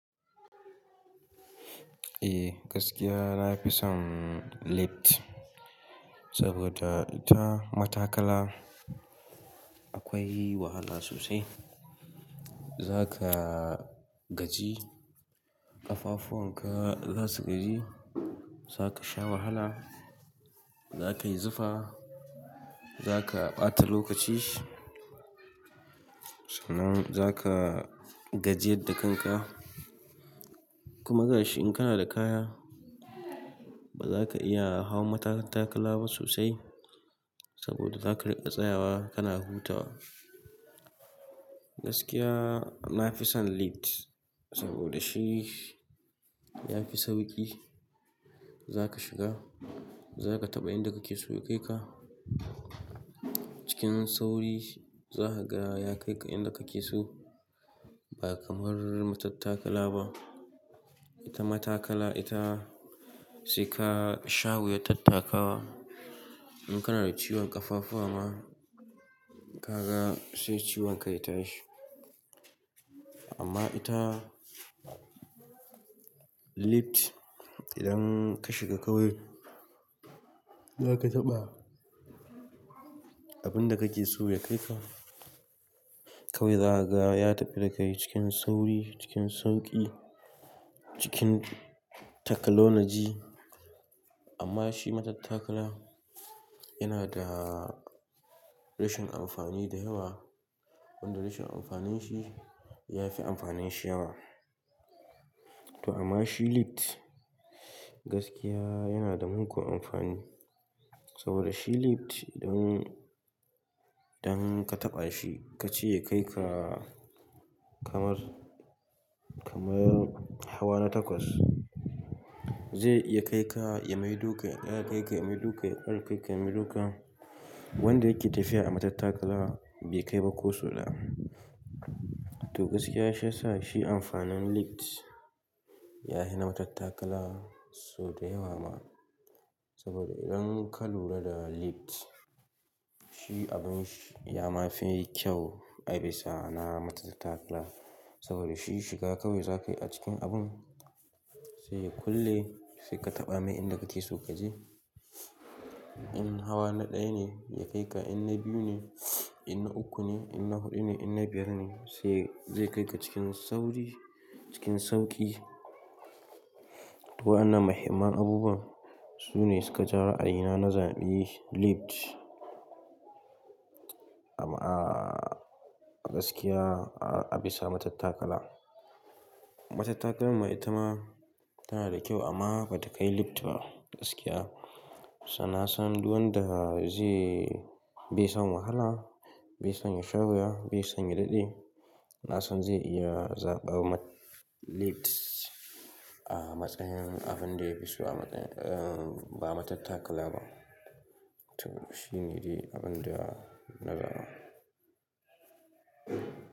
Eh, gaskiya na fi son lift saboda ita matattakala akwai wahala sosai. Zaka gaji, ƙafafuwan ka za su gaji, zaka sha wahala, zaka yi zufa, zaka ɓata lokaci, sana'an zaka gajiyar da kanka. Kuma gashi in kana da kaya, bazaka iya hau matattakala ba sosai saboda zaka riƙa tsayawa kana hutawa. Gaskiya na fi son lift saboda shi ya fi sauƙi. Zaka shiga, zaka taɓa inda kake so ya kai ka. Cikin sauri za ka ga ya kai ka inda kake so ba kamar matattakala ba. Ita matattakala ita sai ka sha wuya tattakawa. In kana da ciwon ƙafafuwa ma, kaga sai ciwon ka ya tashi. Amma ita lift idan ka shiga kawai, zaka taɓa abinda kake so ya kai ka. Kawai za ka ga ya tafi da kai cikin sauri, cikin sauƙi, cikin takalo na ji. Amma shi matattakala yana da rashin amfani da yawa, wanda rashin amfanin shi ya fi amfanin shi yawa. To amma shi lift gaskiya yana da mugun amfani saboda shi lift idan, idan ka taɓa shi ka ce ya kai ka kamar, kamar hawa na takwas, zai iya kai ka ya mai duka, ya kara kai ka ya mai duka, ya ƙara kai ka ya mai duka wanda yake tafiya a matattakala bai kai ba ko suna. To gaskiya shi ya sa shi amfanin lift ya fi na matattakala sau da yawa ma saboda idan ka lura da lift, shi abin shi yama fi kyau a bisa na matattakala saboda shi shiga kawai zakayi a cikin abun, sai ya kulle sai ka taɓa mai inda kake so ka je. In hawa na ɗaya ne ya kai ka, in na biyu ne, in na uku ne, in na huɗu ne, in na biyar ne sai zai kai ka cikin sauri, cikin sauƙi. To wannan muhimman abubuwa su ne suka jawo ra'ayina na zaɓi lift. Amma gaskiya a bisa matattakala. Matattakala ma ita ma tana da kyau amma bata kai lift ba gaskiya. Sa nasan duk wanda zai bi son wahala, bi son ya sha wuya, bi son ya daɗe, na san zai iya zaɓawa lift a matsayin abin da ya fi so a matsayin ba matattakala ba. To shine dai abin da na ga.